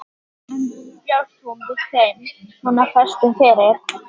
En bjóst hún við þeim svona föstum fyrir?